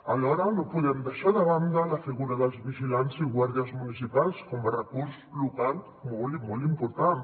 alhora no podem deixar de banda la figura dels vigilants i guàrdies municipals com a recurs local molt i molt important